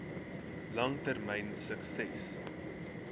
lang termyn sukses